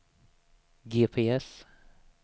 GPS